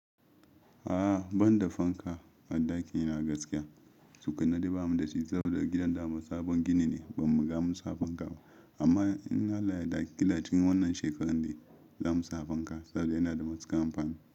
A'a banda fanka a ɗakina gaskiya, tukunna dai ba mu da shi saboda gidan namu sabon gini ne ba mu riga munsa fanka ba. Amma in Allah ya yarda a cikin wannan shekarar dai za mu sa fanka saboda yana da matuƙar kamfani.